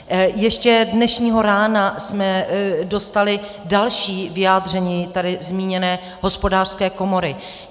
Ještě dnešního rána jsme dostali další vyjádření tady zmíněné Hospodářské komory.